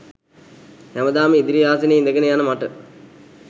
හැමදාම ඉදිරි ආසනයේ ඉඳගෙන යන මට